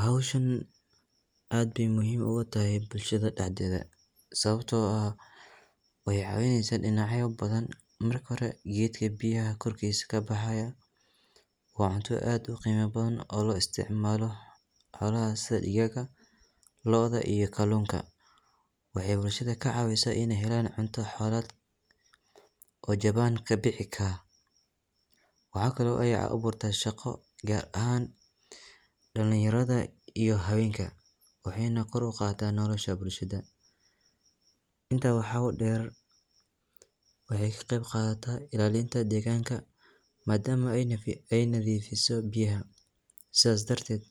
Hawsha aad bey muhiim ugatahy bulshada daxdedha sawabtoo ah waxey cawineysa dinacyo badhan marka hore gebdka biyaha korsis kabaxaya waa cunta aad uqeyma badhan oo looisticmalo xoolaha sidha digaaga loodha iyo kaluunka. Waxey bulshada lacaawica cunto xoolad oo jabaan kabihika. Waxaa kale eey aburta shaqo gaar ahaan dalinyaradha iyo habeenka . Waxeyna kor uqada nolosha bulshada. Intaa waxaa udeer ilaalinta degaanka madama ey nadhifiso biyaha sidhas darteed